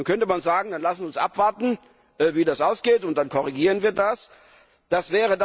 Nun könnte man sagen, dann lasst uns abwarten, wie das ausgeht, und dann korrigieren wir das.